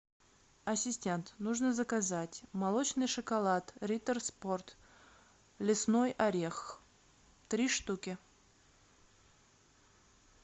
ассистент нужно заказать молочный шоколад риттер спорт лесной орех три штуки